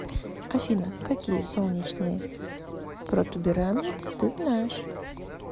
афина какие солнечный протуберанец ты знаешь